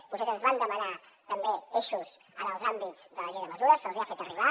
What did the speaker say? vostès ens van demanar també eixos en els àmbits de la llei de mesures se’ls hi han fet arribar